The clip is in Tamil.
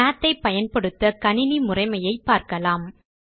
மாத் ஐ பயன்படுத்த கணினி முறைமையை பார்க்கலாம்